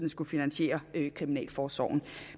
skulle finansiere kriminalforsorgen